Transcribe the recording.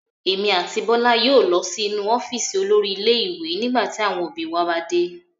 Èmi àti Bọ́lá yóò lọ sí inú ọ́fíísì olórí ilé-ìwé nígbà tí àwọn òbí wa bá dé.